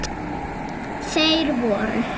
Þeir voru